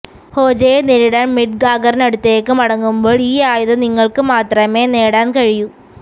ഹോജയെ നേരിടാൻ മിഡ്ഗാഗറിനടുത്തേക്ക് മടങ്ങുമ്പോൾ ഈ ആയുധം നിങ്ങൾക്ക് മാത്രമേ നേടാൻ കഴിയൂ